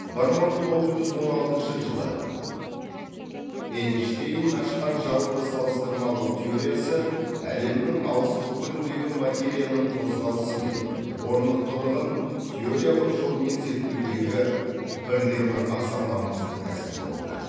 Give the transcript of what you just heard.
бір мың тоғыз жүз он алтыншы жылы эйнштейн ашқан жалпы салыстырмалық теориясы әлемнің алыс түкпіріндегі материяның қозғалысы мен орнықтылығын теориялық жолмен зерттеудегі бірден бір аса маңызды тәсіл болды